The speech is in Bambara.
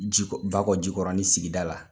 Jikɔ Bakɔjikɔrɔnin sigida la,